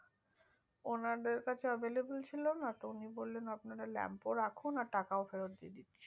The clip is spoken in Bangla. না দেড় কাছে available ছিল না তো উনি বলেন আপনারা lamp টা রাখুন আর টাকাও ফেরত দিয়েদিচ্ছি